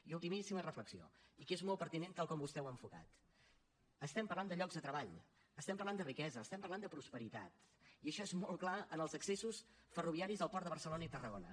i ultimíssima reflexió i que és molt pertinent tal com vostè ho ha enfocat estem parlant de llocs de treball estem parlant de riquesa estem parlant de prosperitat i això és molt clar en els accessos ferroviaris als ports de barcelona i tarragona